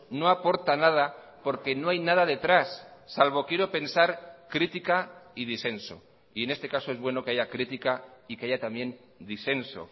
no aporta nada porque no hay nada detrás salvo quiero pensar crítica y disenso y en este caso es bueno que haya crítica y que haya también disenso